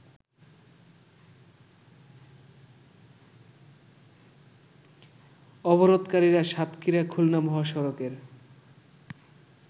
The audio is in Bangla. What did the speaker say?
অবরোধকারীরা সাতক্ষীরা খুলনা মহাসড়কের